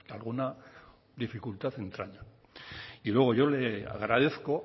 alguna dificultad entraña y luego yo le agradezco